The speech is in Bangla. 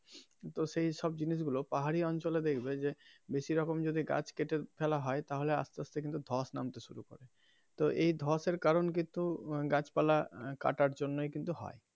কিন্তু সেই সব জিনিস গুলো পাহাড়ি অঞ্চলে দেখবে যে বেশি রকম যদি গাছ কেটে ফেলা হয় তাহলে আস্তে আস্তে কিন্তু ধস নামতে শুরু করে তো এই ধসের কারণ কিন্তু গাছ পালা কাটার জন্যই কিন্তু হয়.